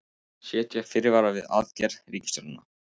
Setja fyrirvara við aðgerðir ríkisstjórnarinnar